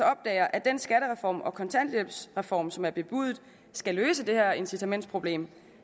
opdager at den skattereform og kontanthjælpsreform som er bebudet skal løse det her incitamentsproblem